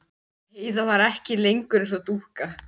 Heiða var ekki lengur eins og dúkka.